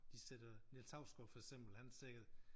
De sætter Niels Hausgaard for eksempel han tjekkede